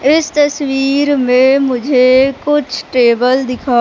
इस तस्वीर मे मुझे कुछ टेबल दिखा--